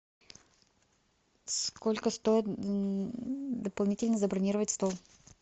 сколько стоит дополнительно забронировать стол